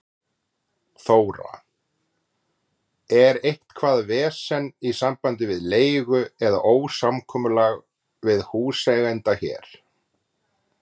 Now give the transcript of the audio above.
Þóra: Er eitthvað vesen í sambandi við leigu eða ósamkomulag við húseiganda hér?